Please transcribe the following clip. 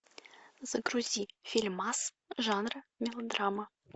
загрузи фильмас жанра мелодрама